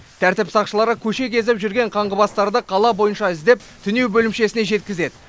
тәртіп сақшылары көше кезіп жүрген қаңғыбастарды қала бойынша іздеп түнеу бөлімшесіне жеткізеді